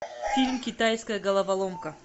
фильм китайская головоломка